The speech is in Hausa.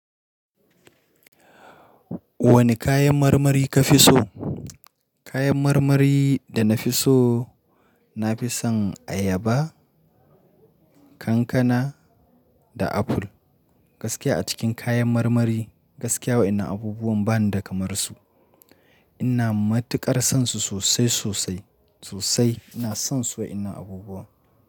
Wane kayan marmari ka fi so? Kayan marmari da na fi so, na fi son ayaba, kankana da aful. Gaskiya a cikin kayan marmari, gaskiya wa inan abubuwan banida kamar su. Ina matuƙar son su sosai sosai sosai. Ina son su wa inan abubuwan.